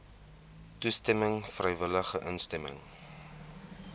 toestemming vrywillige instemming